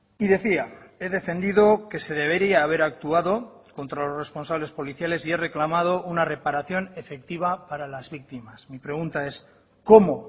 y decía he defendido que se debería haber actuado contra los responsables policiales y he reclamado una reparación efectiva para las víctimas mi pregunta es cómo